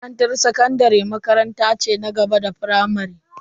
Makarantar sakandare makaranta ce na gaba da firamare.